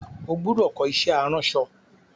O gbúdọ̀ kọ́ iṣẹ́ aránsọ!